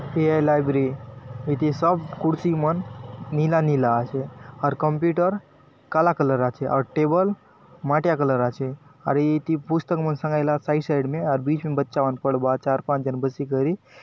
ये है लाइब्रेरी इति सब कुर्सी मन नीला - नीला आचे अउर कंप्यूटर काला कलर आचे अउर टेबल माटिया कलर आचे आउर इति पुस्तक मन संगायलाआत साइड साइड ने अउर बीच ने बच्चा मन पढ़बा आत चार पांच जन बसी करी।